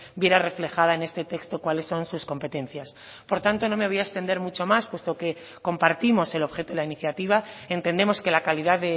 viera reflejada en este texto cuáles son sus competencias por tanto no me voy a extender mucho más puesto que compartimos el objeto de la iniciativa entendemos que la calidad